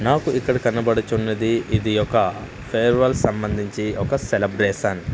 నాకు ఇక్కడ కనబడుచున్నది ఇది ఒక ఫేర్వెల్ సంబంధించి ఒక సెలబ్రేషన్ --